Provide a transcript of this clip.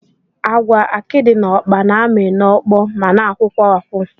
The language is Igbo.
Agwa, akidi na ọkpa na-amị n'okpo ma na-akwụkwa akwụ